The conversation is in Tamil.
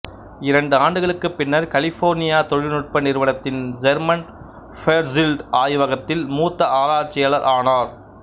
இரண்டு ஆண்டுகளுக்குப் பின்னர் கலிபோர்னியா தொழில் நுட்ப நிறுவனத்தின் செர்மன் ஃபேர்சில்டு ஆய்வகத்தில் மூத்த ஆராய்ச்சியாளர் ஆனார்